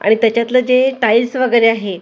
आणि त्याच्यतल जे टाइल्स वगैरे आहे --